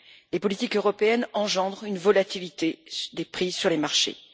Les politiques européennes engendrent une volatilité des prix sur les marchés.